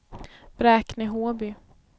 Bräkne-Hoby